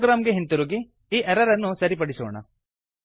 program ಗೆ ಹಿಂತಿರುಗಿ ಈ ಎರರ್ ಅನ್ನು ಸರಿಪಡಿಸೋಣ